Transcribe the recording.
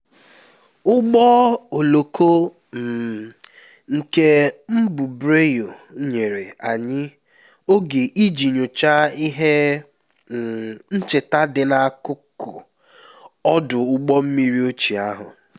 ụgbọ oloko um nke mbubreyo nyere anyị oge iji nyochaa ihe um ncheta dị n'akụkụ ọdụ ụgbọ mmiri ochie ahụ